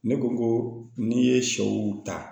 Ne ko ko n'i ye sɛw ta